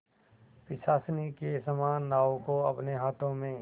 पिशाचिनी के समान नाव को अपने हाथों में